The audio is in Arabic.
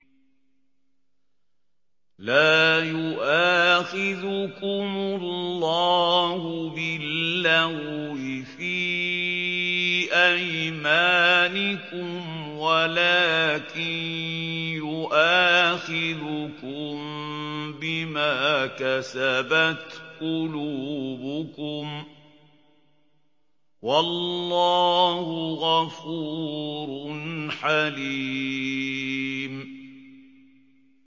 لَّا يُؤَاخِذُكُمُ اللَّهُ بِاللَّغْوِ فِي أَيْمَانِكُمْ وَلَٰكِن يُؤَاخِذُكُم بِمَا كَسَبَتْ قُلُوبُكُمْ ۗ وَاللَّهُ غَفُورٌ حَلِيمٌ